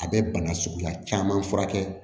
A bɛ bana suguya caman furakɛ